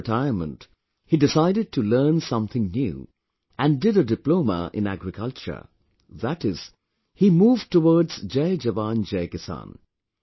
After retirement, he decided to learn something new and did a Diploma in Agriculture, that is, he moved towards Jai Jawan, Jai Kisan